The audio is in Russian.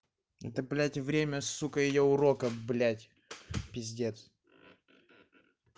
это блять время сука её урока блять пиздец